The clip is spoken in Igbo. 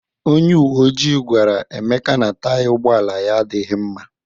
Onye uwe ojii gwara Emeka na Taya ụgbọala ya adịghị mma.